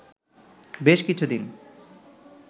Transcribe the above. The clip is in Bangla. বেশ কিছুদিন